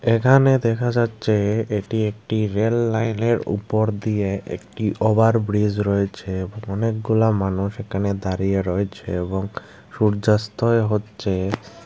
এখানে দেখা যাচ্ছে এটি একটি রেললাইনের উপর দিয়ে একটি ওভার ব্রিজ রয়েছে অনেকগুলা মানুষ এখানে দাঁড়িয়ে রয়েছে এবং সূর্যাস্তয় হচ্ছে।